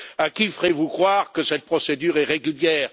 À qui ferez vous croire que cette procédure est régulière?